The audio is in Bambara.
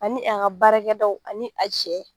Ani an ka baarakɛdaw ani a cɛ